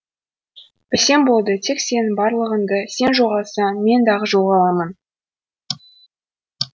білсем болды тек сенің барлығыңды сен жоғалсаң мен дағы жоғаламын